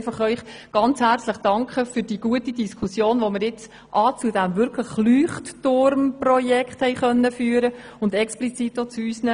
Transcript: Ich möchte Ihnen für die gute Diskussion zu diesem Leuchtturm-Projekt und unseren Anträgen herzlich danken.